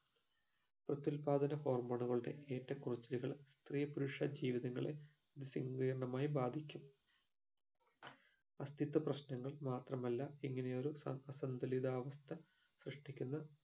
പ്രത്യുല്പ്പാദന hormone ഉകളുടെ ഏറ്റക്കുറച്ചിലുകൾ സ്ത്രീ പുരുഷ ജീവിതങ്ങളെ നിസങ്കീര്ണമായി ബാധിക്കും അസ്തിത്വ പ്രശ്നങ്ങൾ മാത്രമല്ല ഇങ്ങനെയൊരു സൻ അസന്തുലിതാവസ്ഥ സൃഷ്ടിക്കുന്ന